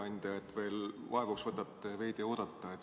Aitäh, hea ettekandja, et võtate veel vaevaks veidi oodata.